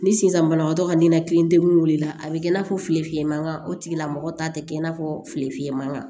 Ni sisan banabagatɔ ka ninakilidenkunna a bɛ kɛ i n'a fɔ filifiyɛ mankan o tigilamɔgɔ ta tɛ kɛ i n'a fɔ fili fiyɛ mankan